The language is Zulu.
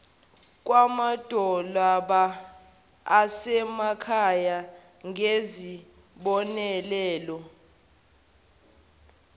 kwamadolobha asemakhaya ngezibonelelo